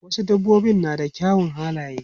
Wasu dabbobin na da kyawawan halaye.